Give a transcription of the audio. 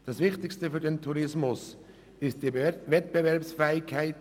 Das Wichtigste für den Tourismus ist die Wettbewerbsfähigkeit.